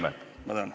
Ma tänan!